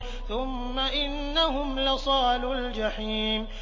ثُمَّ إِنَّهُمْ لَصَالُو الْجَحِيمِ